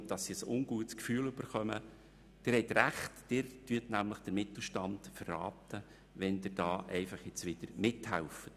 Sie bekommen ein ungutes Gefühl und haben recht, denn damit verraten Sie den Mittelstand, wenn Sie wieder mithelfen.